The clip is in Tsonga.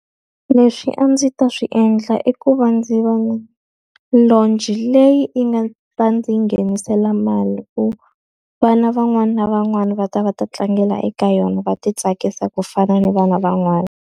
Leswi a ndzi ta swi endla i ku va ndzi va na lodge leyi yi nga ta ndzi nghenisela mali ku vana van'wana na van'wana va ta va ta tlangela eka yona, va ti tsakisa ku fana ni vana van'wana.